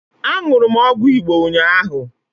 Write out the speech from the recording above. Aṅụrụ m ọgwụ Igbo ụnyaahụ